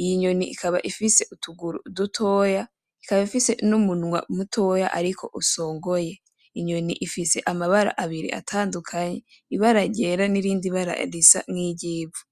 iyi nyoni ikaba ifise utuguru dutoya ikaba ifise n'umunwa mutoya ariko usongoye, inyoni ifise amabara abiri atandukanye ibara ryera n'irindi bara risa n'iryivu.